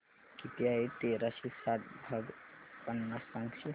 किती आहे तेराशे साठ भाग पन्नास सांगशील